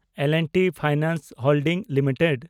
L and T finance holding limited